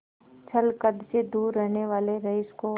छल छंद से दूर रहने वाले रईस को